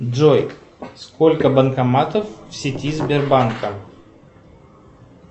джой сколько банкоматов в сети сбербанка